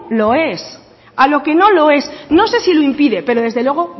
lo es a lo que no lo es no sé si lo impide pero desde luego